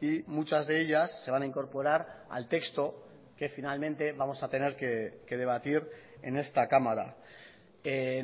y muchas de ellas se van a incorporar al texto que finalmente vamos a tener que debatir en esta cámara